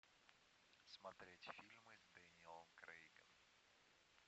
смотреть фильмы с дэниелом крейгом